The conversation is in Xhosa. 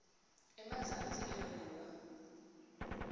emazantsi elo liwa